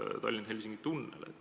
See on Tallinna–Helsingi tunnel.